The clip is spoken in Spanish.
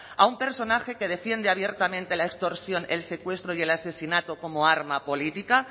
a un personaje que defiende abiertamente la extorsión el secuestro y el asesinato como arma política